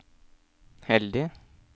heldig